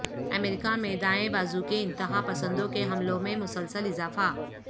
امریکہ میں دائیں بازو کے انتہا پسندوں کے حملوں میں مسلسل اضافہ